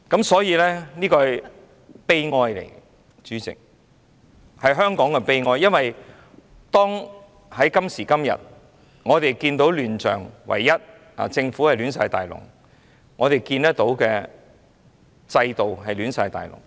所以，這是悲哀，主席，是香港的悲哀，因為今時今日我們看見政府亂七八糟，制度亂七八糟。